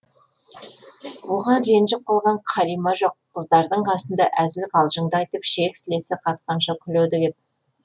оған ренжіп қалған қалима жоқ қыздардың қасында әзіл қалжыңды айтып ішек сілесі қатқанша күледі кеп